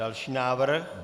Další návrh?